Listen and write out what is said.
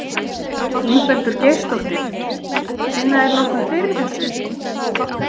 Ingveldur Geirsdóttir: Finna þeir nokkuð fyrir þessu?